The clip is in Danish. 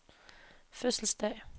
fødselsdag